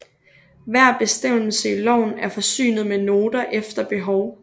Hver bestemmelse i loven er forsynet med noter efter behov